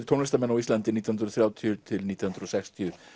tónlistarmenn á Íslandi nítján hundruð og þrjátíu til nítján hundruð og sextíu